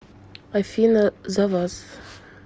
афина за вас